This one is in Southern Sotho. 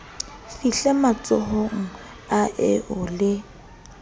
fihle matsohong a eo le